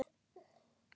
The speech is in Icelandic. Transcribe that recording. Við leysum málin.